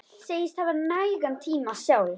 Segist hafa nægan tíma sjálf.